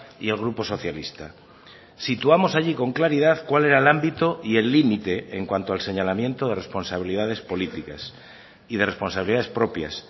y el grupo socialista situamos allí con claridad cuál era el ámbito y el límite en cuanto al señalamiento de responsabilidades políticas y de responsabilidades propias